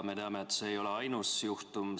Me teame, et see ei ole ainus juhtum.